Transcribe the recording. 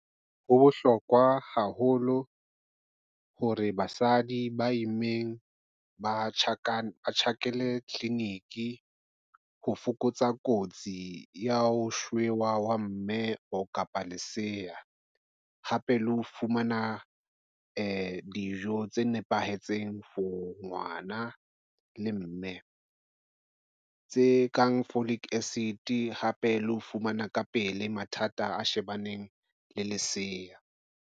Ho bohlokwa haholo hore basadi ba immeng ba tjhakele tleliniki, ho fokotsa kotsi ya ho shewa ha mme kapa lesea, hape le ho fumana dijo tse nepahetseng for ngwana le mme. Tse kang folic acid hape le ho fumana ka pele mathata a shebaneng le lesea.